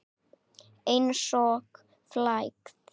Einsog flagð.